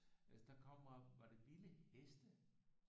Altså der kommer var det vilde heste